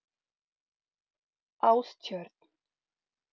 Ástjörn